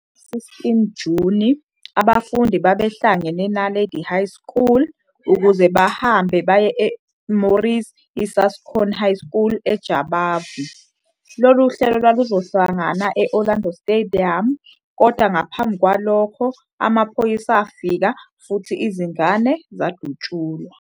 Ngomhla ka-16 Juni, abafundi babehlangene eNaledi High School ukuba bahambe baye eMorris Isaacson High School eJabavu. Lolu hlelo lwaluzohlangana e- Orlando Stadium, kodwa ngaphambi kwalokho amaphoyisa afika futhi izingane zadutshulwa.